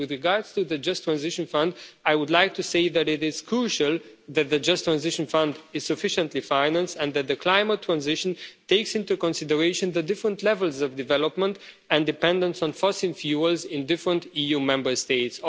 has. With regard to the Just Transition Fund, I would like to say that it is crucial that the Just Transition Fund is sufficiently financed and that the climate transition takes into consideration the different levels of development and dependence on fossil fuels in different EU Member States.